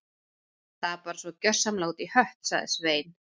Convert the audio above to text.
Þetta er bara svo gjörsamlega út í hött- sagði Svein